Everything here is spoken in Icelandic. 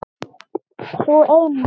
Sú eina!